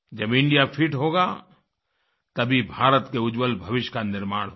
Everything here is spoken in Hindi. जब इंडिया फिट होगा तभी भारत के उज्ज्वल भविष्य का निर्माण होगा